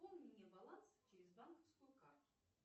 пополни мне баланс через банковскую карту